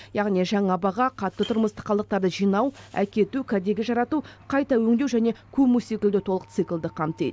яғни жаңа баға қатты тұрмыстық қалдықтарды жинау әкету кәдеге жарату қайта өңдеу және көму секілді толық циклді қамтиды